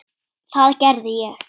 Það gerði ég.